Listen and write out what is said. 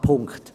Punkt